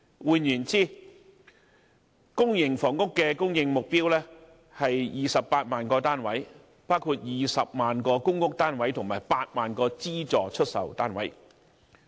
換言之，公營房屋的供應目標為28萬個單位，包括20萬個公屋單位和8萬個資助出售單位。